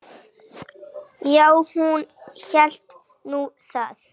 Já, hún hélt nú það.